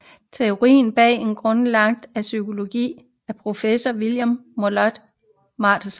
Teorien bag er grundlagt af psykolog og professor William Moulton Marston